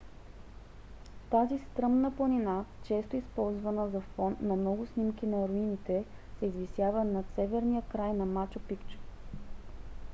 тази стръмна планина често използвана за фон на много снимки на руините се извисява над северния край на мачу пикчу